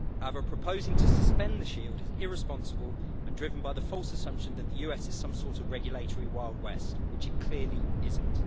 However, proposing to suspend the Shield is irresponsible and driven by the false assumption that the US is some sort of regulatory Wild West, which it clearly isn't.